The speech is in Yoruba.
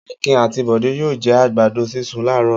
Akin àti Bọ̀dé yóò jẹ àgbàdo sísun láàárọ̀.